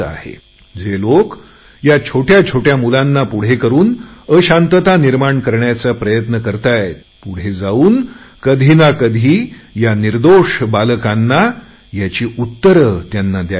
जे लोक या छोट्या छोट्या मुलांना पुढे करुन अशांतता निर्माण करायचा प्रयत्न करतात पुढे जाऊन त्यांना कधी ना कधी निर्दोष बालकांना याची उत्तरे द्यावी लागतील